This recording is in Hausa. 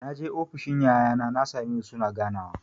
Naje ofis ɗin yayana na sa me su suna ganawa.